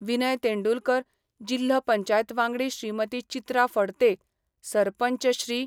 विनय तेंडुलकर, जिल्हो पंचायत वांगडी श्रीमती चित्रा फडते, सरपंच श्री.